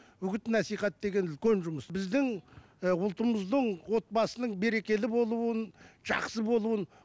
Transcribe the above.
үгіт насихат деген үлкен жұмыс біздің і ұлтымыздың отбасының берекелі болуын жақсы болуын